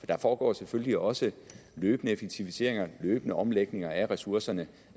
der foregår selvfølgelig også løbende effektiviseringer løbende omlægninger af ressourcerne